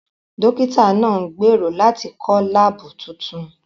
Dókítà náà ń gbèrò láti kọ́ láàbù tuntun